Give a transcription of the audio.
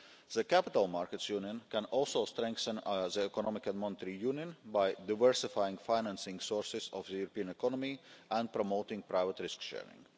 The Capital Markets Union can also strengthen the Economic and Monetary Union by diversifying financing sources of the European economy and promoting private risk sharing.